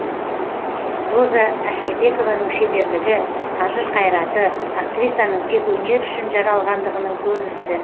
роза әшірбекованың шеберлігі қажыр қайраты актрисаның тек өнер үшін жаралғандығының көрінісі